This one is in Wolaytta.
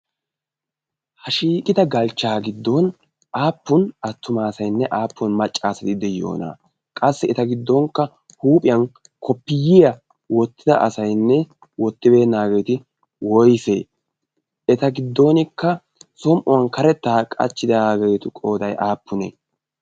ha shiiqita galchchaa giddon aappun attuma asainne aappun maccaasatidde yoona? qassi eta giddonkka huuphiyan koppiyiyaa oottida asaynne oottibeennaageeti woise eta giddonkka som'uwan karettaa qachchidaageetu qodai aappunee?